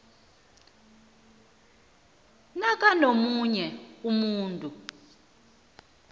namkha omunye umuntu